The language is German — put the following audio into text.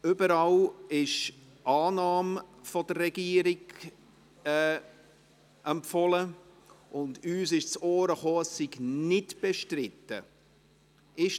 Überall wird von der Regierung Annahme empfohlen, und uns ist zu Ohren gekommen, dass dies nicht bestritten ist.